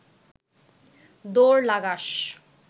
দৌড় লাগাস